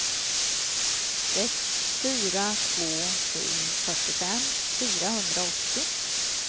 sex fyra två sju fyrtiofem fyrahundraåttio